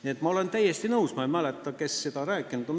Nii et ma olen täiesti nõus nendega, kes on kahtlust avaldanud.